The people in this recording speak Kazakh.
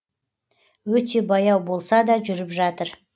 өте баяу болса да жүріп жатыр